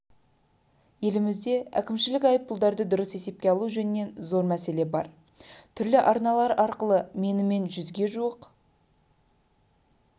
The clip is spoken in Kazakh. елімізде әкімшілік айыппұлдарды дұрыс есепке алу жөнінен зор мәселе бар түрлі арналар арқылы менімен жүзге жуық